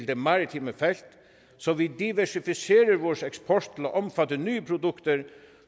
det maritime felt så vi diversificerer eksporten til at omfatte nye produkter